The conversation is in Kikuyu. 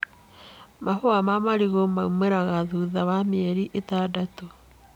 Mahũa ma marigũ maumagĩra thutha wa mĩeri itandatũ.